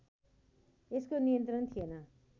यसको नियन्त्रण थिएन